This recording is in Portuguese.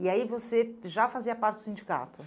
E aí você já fazia parte do sindicato?